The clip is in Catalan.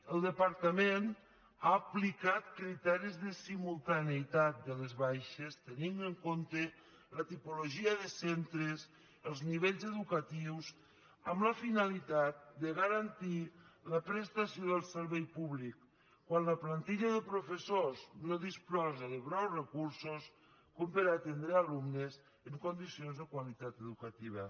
el departament ha aplicat criteris de simultaneïtat de les baixes tenint en compte la tipologia de centres els nivells educa·tius amb la finalitat de garantir la prestació del servei públic quan la plantilla de professors no disposa de prou recursos per atendre alumnes en condicions de qualitat educativa